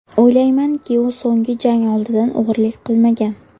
O‘ylaymanki, u so‘nggi jang oldidan og‘rilik qilmagan.